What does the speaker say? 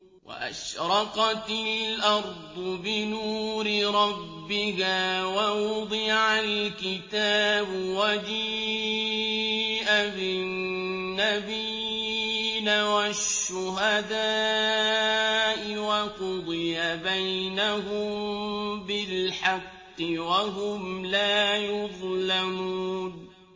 وَأَشْرَقَتِ الْأَرْضُ بِنُورِ رَبِّهَا وَوُضِعَ الْكِتَابُ وَجِيءَ بِالنَّبِيِّينَ وَالشُّهَدَاءِ وَقُضِيَ بَيْنَهُم بِالْحَقِّ وَهُمْ لَا يُظْلَمُونَ